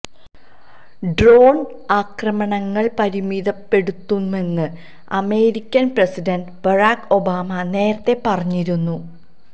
drone ആക്രമണങ്ങള് പരിമിതപ്പെടുത്തുമെന്ന് American president Barack Obama നേരത്തെ പറഞ്ഞിരുന്നു